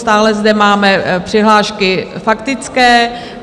Stále zde máme přihlášky faktické.